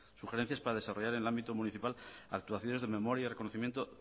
sugerencias para desarrollar en el ámbito municipal actuaciones de memoria y reconocimiento